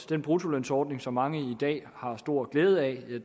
den bruttolønsordning som mange i dag har stor glæde af